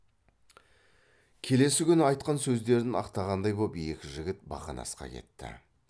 келесі күні айтқан сөздерін ақтағандай боп екі жігіт бақанасқа кетті